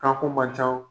Ka ko man ca o